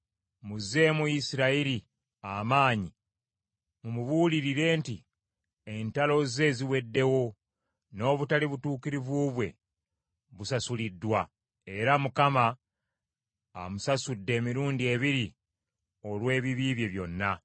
Muzzeemu Yerusaalemi amaanyi mumubuulire nti, entalo ze ziweddewo, n’obutali butuukirivu bwe busasuliddwa. Era Mukama amusasudde emirundi ebiri olw’ebibi bye byonna.